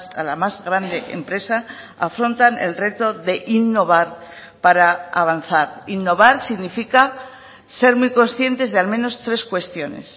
a la más grande empresa afrontan el reto de innovar para avanzar innovar significa ser muy conscientes de al menos tres cuestiones